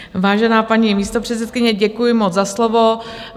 Vážená paní místopředsedkyně, děkuji moc za slovo.